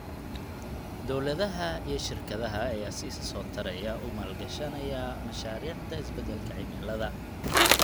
Dawladaha iyo shirkadaha ayaa si isa soo taraya u maalgashanaya mashaariicda isbedelka cimilada.